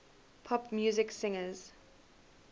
pop music singers